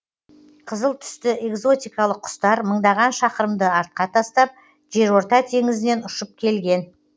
қызыл түсті экзотикалық құстар мыңдаған шақырымды артқа тастап жерорта теңізінен ұшып келген